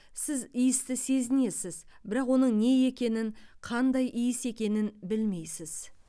сіз иісті сезінесіз бірақ оның не екенін қандай иіс екенін білмейсіз